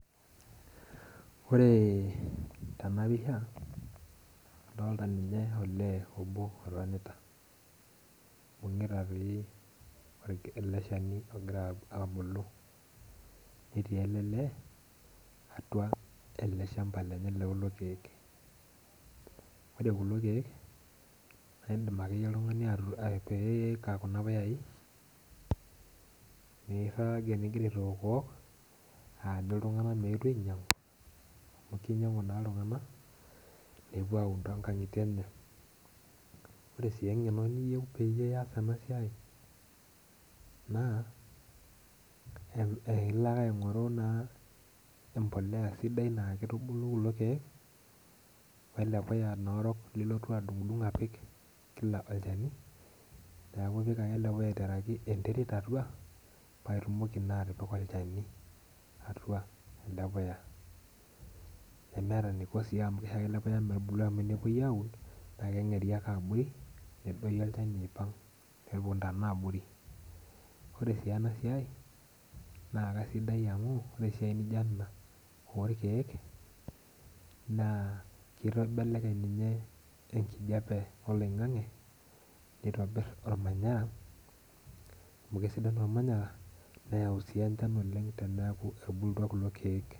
Ore tenapisha adolta nye olee obo otonta oibungita eleshani ogira abulu netii elelee atua olchamba lelelo kiek ore kulo kiek na indim ake oltungani atipika kuna puyai nirabgir ningira aaitok aanyu ltunganak meetu ainyangu amu kinyangu ltunganak nepuo aun tonkaingitie enye ore si engeno niyieu pias enasia na eilo ake aingoru empolea na kitubulunye kulo kiek we mpolea sidai nilotu adungdung apik kila olchani neakubidung ake elepuya aiteraki enterit atua paitumoki na atipika olchani atua enapuya nemeta eniiko amu kisho ake elepuya metubulu tenepuoi aun na kengeru ake abori nepuoi aitau nepuo ntana abori ore enasia na kesidai amu kre esiai nijo ena orkiek na kibelekeny ninye enkijape oloingangi nitobir ormanyara amu Kesidai ormanyara neyau enchan oleng teneaku etubulutua kulo kiek.